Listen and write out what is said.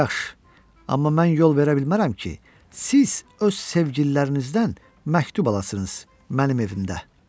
Yaxşı, amma mən yol verə bilmərəm ki, siz öz sevgililərinizdən məktub alasınız mənim evimdə.